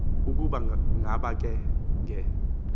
ukuba ngaba nge